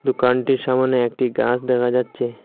দোকানটির সামোনে একটি গাস দেখা যাচচে।